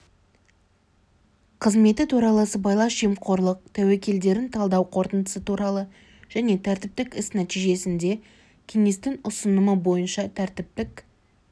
қызметі туралы сыбайлас жемқорлық тәуекелдерін талдау қорытындысы туралы және тәртіптік іс нәтижесінде кеңестің ұсынымы бойыншатәртіптік